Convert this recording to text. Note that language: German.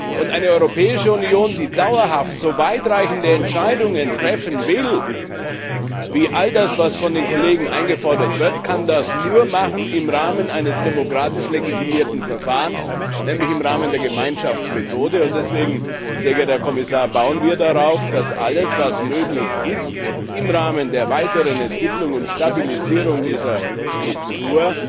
Und eine Europäische Union, die dauerhaft so weit reichende Entscheidungen treffen will wie all das, was von den Kollegen eingefordert wird, kann das nur machen im Rahmen eines demokratisch legitimierten Verfahrens, nämlich im Rahmen der Gemeinschaftsmethode. Und deswegen, sehr geehrter Herr Kommissar, bauen wir darauf, dass alles, was möglich ist, im Rahmen der weiteren Entwicklung und Stabilisierung dieser Struktur